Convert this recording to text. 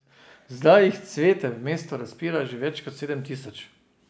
Zdaj jih cvete v mestu razpira že več kot sedem tisoč.